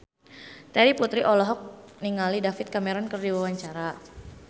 Terry Putri olohok ningali David Cameron keur diwawancara